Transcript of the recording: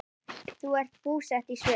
Þau eru búsett í Sviss.